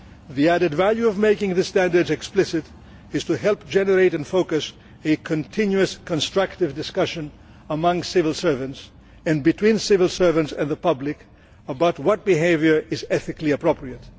The added value of making the standards explicit is to help generate and focus a continuous, constructive discussion among civil servants and between civil servants and the public about what behaviour is ethically appropriate.